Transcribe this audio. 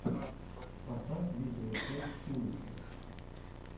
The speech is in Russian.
поставь видеорецепт уликса